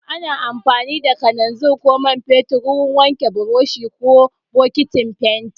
Ana amfani da kalanzir ko man fetur wurin wanke buroshi ko bokitin fenti.